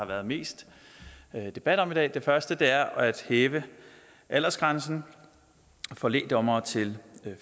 været mest debat om i dag det første er at hæve aldersgrænsen for lægdommere til